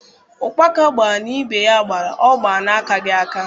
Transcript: Ụkpaka gbaa na ibe ya gbara, ọ gbaa n’akaghị aka.